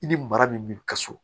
I ni mara min bɛ ka so